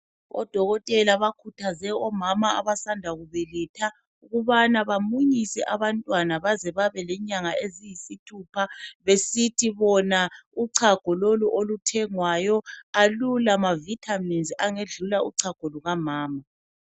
Odokotela bakhuthaze omama abasanda kubelatha ukubana bamunyise abantwana bazebabe lenyanga eziyisithupha besithi bona uchago lolu oluthengwayo alula maVitamins angedlula uchago lukamama